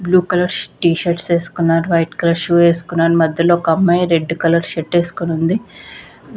Blue colour ష్ t shirts ఏస్కున్నారు white colour shoe ఏస్కున్నారు మధ్యలో ఒక అమ్మాయి రెడ్ కలర్ షర్టు ఏస్కోనుంది .